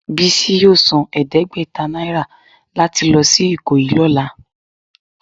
Bisi yọọ sán ẹdẹgbẹta naira latí lọ si ikoyi lọla.